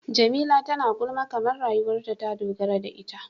Jamila tana gulma kamar rayuwarta ta dogara da ita.